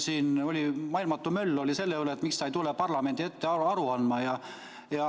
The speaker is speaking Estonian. Siin oli maailmatu möll selle üle, miks ta ei tule parlamendi ette aru andma.